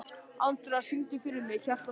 Andra, syngdu fyrir mig „Hjartað slær“.